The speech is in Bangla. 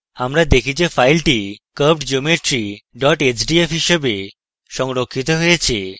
আমরা দেখি যে file curvedgeometry hdf হিসাবে সংরক্ষিত হয়েছে